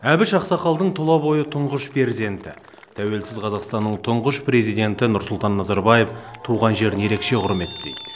әбіш ақсақалдың тұла бойы тұңғыш перзенті тәуелсіз қазақстанның тұңғыш президенті нұрсұлтан назарбаев туған жерін ерекше құрметтейді